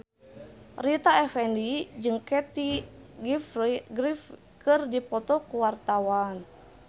Rita Effendy jeung Kathy Griffin keur dipoto ku wartawan